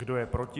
Kdo je proti?